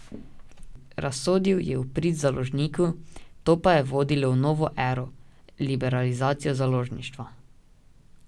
Razsodil je v prid založniku, to pa je vodilo v novo ero, liberalizacijo založništva.